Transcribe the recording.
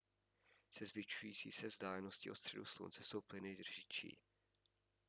se zvyšující se vzdáleností od středu slunce jsou plyny řidší